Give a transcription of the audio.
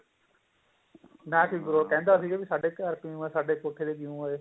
ਨਾ ਸੀ ਕੋਈ ਉਹਦੋ ਕਹਿੰਦਾ ਸੀ ਵੀ ਸਾਡੇ ਘਰ ਕਿਉਂ ਆਏ ਸਾਡੇ ਕੋਠੇ ਤੇ ਕਿਉਂ ਆਏ